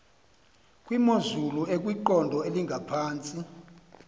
kwimozulu ekwiqondo elingaphantsi